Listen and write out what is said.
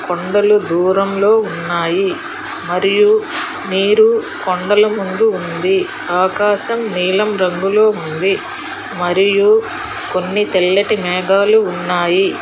కొండలు దూరంలో ఉన్నాయి మరియు నీరు కొండల ముందు ఉంది ఆకాశం నీలం రంగులో ఉంది మరియు కొన్ని తెల్లటి మేఘాలు ఉన్నాయి.